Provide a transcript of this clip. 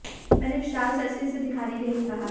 मैंने विशाल सर से इसे दिखाने के लिए कहा है